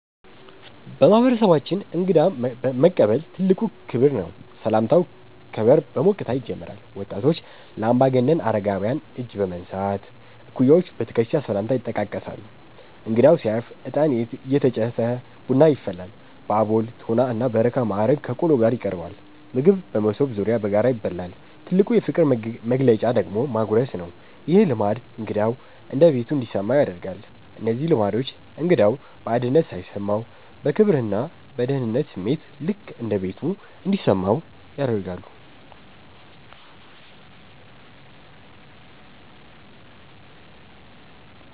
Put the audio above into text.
በማህበረሰባችን እንግዳ መቀበል ትልቅ ክብር ነው። ሰላምታው ከበር በሞቅታ ይጀምራል። ወጣቶች ለአምባገነን አረጋውያን እጅ በመንሳት፣ እኩያዎች በትከሻ ሰላምታ ይጠቃቀሳሉ። እንግዳው ሲያርፍ እጣን እየተጨሰ ቡና ይፈላል። በአቦል፣ ቶና እና በረካ ማዕረግ ከቆሎ ጋር ይቀርባል። ምግብ በመሶብ ዙሪያ በጋራ ይበላል። ትልቁ የፍቅር መግለጫ ደግሞ ማጉረስ ነው። ይህ ልማድ እንግዳው እንደ ቤቱ እንዲሰማው ያደርጋል። እነዚህ ልማዶች እንግዳው ባዕድነት ሳይሰማው፣ በክብርና በደህንነት ስሜት "ልክ እንደ ቤቱ" እንዲሰማው ያደርጋሉ።